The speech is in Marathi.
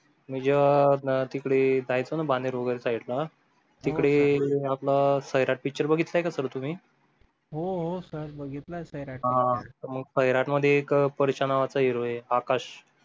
मी ज्या ना जायचं ना साईडला तिकडे आपला सैराट picture बघितला का sir तुम्ही हो sir बघितलं तर हा सैराट मध्ये एक परश्या नावाचा Hero आहे आकाश